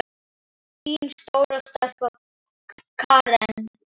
Þín stóra stelpa, Karen Rakel.